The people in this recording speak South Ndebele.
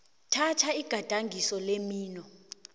thatha igadangiso lemino